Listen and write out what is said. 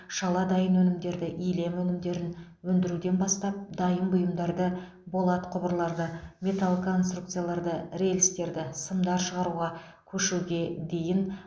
шала дайын өнімдерді илем өнімдерін өндіруден бастап дайын бұйымдарды болат құбырларды металл конструкцияларды рельстерді сымдар шығаруға көшуге дейін